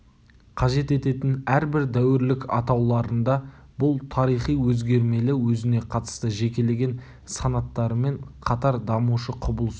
қажет ететін әрбір дәуірлік атауларында бұл тарихи өзгермелі өзіне қатысты жекелеген санаттарымен қатар дамушы құбылыс